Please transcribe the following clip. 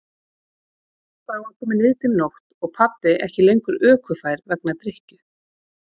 Þá var komin niðdimm nótt og pabbi ekki lengur ökufær vegna drykkju.